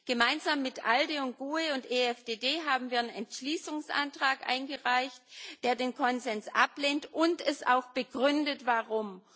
Gemeinsam mit ALDE, GUE NGL und EFDD haben wir einen Entschließungsantrag eingereicht, der den Konsens ablehnt und auch begründet warum.